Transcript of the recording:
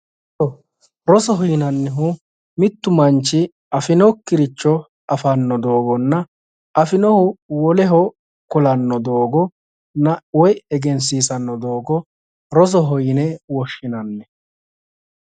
Roso, rosoho yinnannihu mitu manchi afinokkiricho afano doogonna afinohu woleho ku'lano doogo woyi egensiisano doogo rosoho yinne woshshinanni.